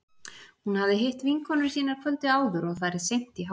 Hún hafði hitt vinkonur sínar kvöldið áður og farið seint í háttinn.